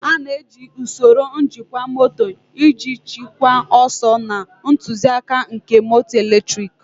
A na-eji usoro njikwa moto iji chịkwaa ọsọ na ntụzịaka nke moto eletriki.